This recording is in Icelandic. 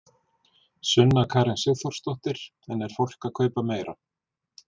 Sunna Karen Sigurþórsdóttir: En er fólk að kaupa meira?